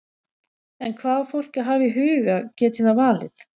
En hvað á fólk að hafa í huga geti það valið?